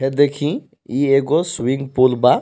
हे देखी इ एगो स्विमिंग पूल बा.